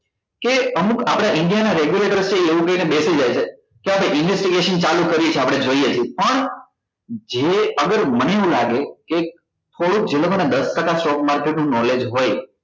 કે અમુક આપડા india નાં regulation છે એવું કહી ને બેસી જાય છે કે આતો investigation ચાલુ કરી છે આપડે જોઈએ પણ જે અગર મને એવું લાગે કે થોડુક જે લોકો ને દસ ટકા stock market નું knowledge હોય